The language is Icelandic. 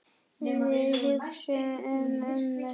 Við hugsum um mömmu.